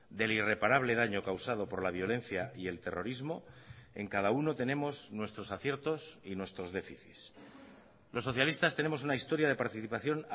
del irreparable daño causado por la violencia y el terrorismo en cada uno tenemos nuestros aciertos y nuestros déficits los socialistas tenemos una historia de participación